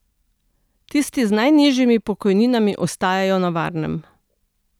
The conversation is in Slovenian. Tisti z najnižjimi pokojninami ostajajo na varnem.